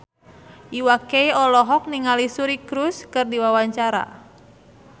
Iwa K olohok ningali Suri Cruise keur diwawancara